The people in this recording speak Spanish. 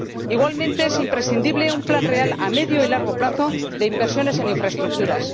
Igualmente, es imprescindible un plan real a medio y largo plazo de inversiones en infraestructuras.